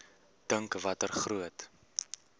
dink watter groot